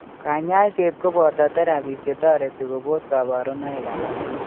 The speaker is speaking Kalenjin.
Kanyaiset koboto therapies chetoreti kobos kabarunoik alak